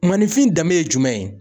Maanifin danbe ye jumɛn ye